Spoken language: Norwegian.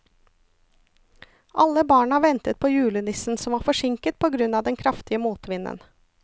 Alle barna ventet på julenissen, som var forsinket på grunn av den kraftige motvinden.